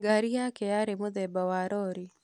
Ngari yake yarĩ mũthemba wa rori.